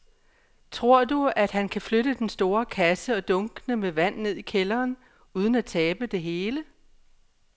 Tror du, at han kan flytte den store kasse og dunkene med vand ned i kælderen uden at tabe det hele?